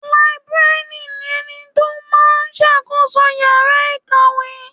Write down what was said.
Làìbéríànì ni ẹni tó máa ń ṣàkóso yàrá ìkàwé.